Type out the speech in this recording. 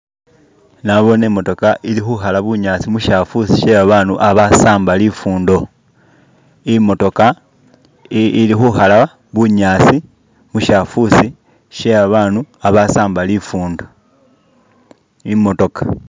nabone imotoka ili huhala bunyasi mushafusi she abandu abasamba lifundo imotoka ili huhala bunyasi mushafusi she abandu abasamba lifundo imotoka